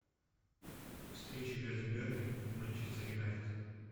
встреча между бернли и манчестер юнайтед